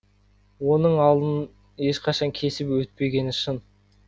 оның алдын ешқашан кесіп өтпегені шын